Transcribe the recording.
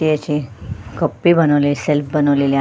हते असे कप्पे बनवले सेल्फ बनवलेले आ--